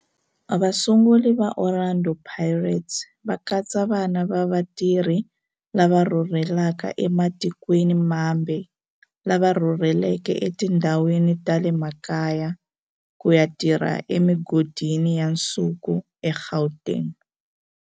Vasunguri va Orlando Pirates va katsa vana va vatirhi lava rhurhelaka ematikweni mambe lava rhurheleke etindhawini ta le makaya ku ya tirha emigodini ya nsuku eGauteng.